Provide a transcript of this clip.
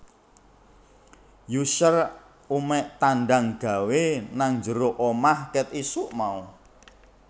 Usher umek tandang gawe nang njero omah ket isuk mau